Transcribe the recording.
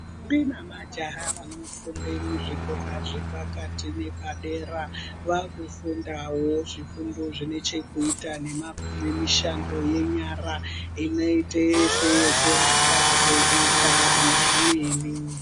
Ndombi nemajaha vanofunda muzvikora zvepakati nezvapadera, vakufundawo zvifundo zvinechekuiya nemishando yenyara ingaite seyekuaka, kubika nezvimweni.